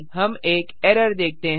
हम एक एरर देखते हैं